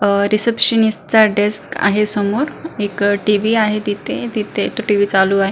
अह रीसेप्शनिस्ट चा डेस्क आहे समोर एक टी.व्ही. आहे तिथे तिथे तो टी.व्ही. चालू आहे.